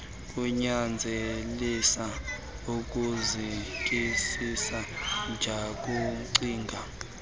kunyanzelisa ukuzikisisa jukucinga